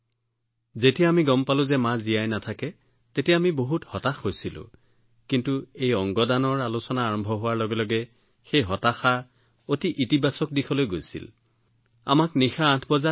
যেতিয়ালৈকে আমি জানিব পৰা নাছিলোঁ যে মা জীয়াই থাকিব নোৱাৰিব তেতিয়ালৈকে আমি বহুত হতাশ হৈছিলোঁ কিন্তু এই অংগ দান আলোচনা আৰম্ভ হোৱাৰ লগে লগে সেই হতাশা অতি ইতিবাচক দিশলৈ পৰিৱৰ্তিত হল আৰু আমি এক অতি ইতিবাচক পৰিৱেশত প্ৰৱেশ কৰিলোঁ